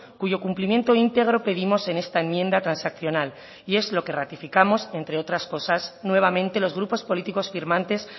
cuyo cumplimiento íntegro pedimos en esta enmienda transaccional y es lo que ratificamos entre otras cosas nuevamente los grupos políticos firmantes